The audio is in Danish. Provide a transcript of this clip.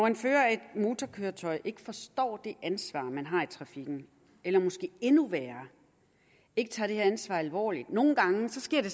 en fører af et motorkøretøj ikke forstår det ansvar man har i trafikken eller måske endnu værre ikke tager det her ansvar alvorligt nogle gange sker det